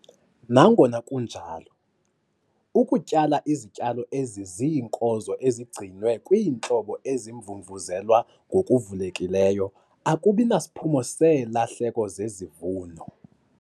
Nangona kunjalo, ukutyala izityalo eziziinkozo ezigcinwe kwiintlobo ezimvumvuzelwa ngokuvulekileyo akubi nasiphumo seelahleko zezivuno.